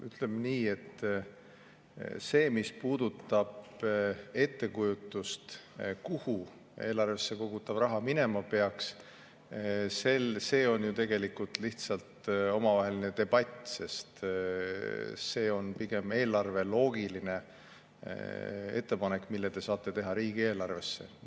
Ütleme nii, et see, mis puudutab ettekujutust, kuhu eelarvesse kogutav raha minema peaks seal, on ju tegelikult lihtsalt omavaheline debatt, sest see on pigem eelarveloogiline ettepanek, mille te saate teha riigieelarve kohta.